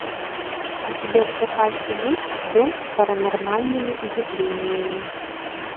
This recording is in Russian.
у тебя в запасе есть дом с паранормальными явлениями